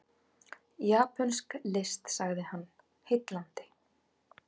Japönsk list sagði hann, heillandi.